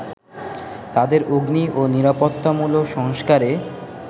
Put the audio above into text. তাদের অগ্নি ও নিরাপত্তামূলক সংস্কারে